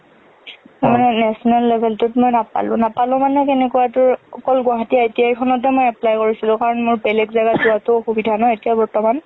national level টুত মই নাপালো। নাপালো মানে কেনেকুৱা তোৰ অকল গুৱাহাটী ITI খনতে মই apply কৰিছিলোঁ কাৰন মোৰ বেলেগ জাগাত যোৱাটো ing অসুবিধা ন এতিয়া বৰ্তমান।